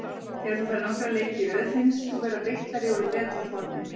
Þegar þú færð nokkra leiki í röð finnst þú vera beittari og í betra formi.